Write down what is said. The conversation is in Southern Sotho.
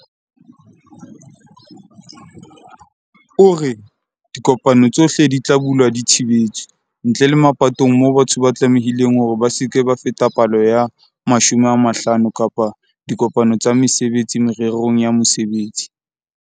O re, "Dikopano tsohle di tla dula di thibetswe, ntle le mapatong moo batho ba tlamehileng hore ba se ke ba feta palo ya 50 kapa diko-pano tsa mesebetsi mererong ya mosebetsi."